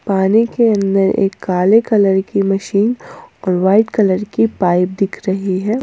पानी के अंदर एक काले कलर की मशीन और वाइट कलर की पाइप दिख रही है।